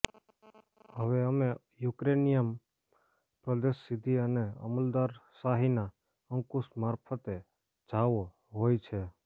હવે અમે યુક્રેનિયન પ્રદેશ સીધી અને અમલદારશાહીના અંકુશ મારફતે જાઓ હોય છે